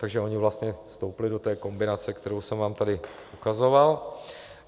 Takže oni vlastně vstoupili do té kombinace, kterou jsem vám tady ukazoval.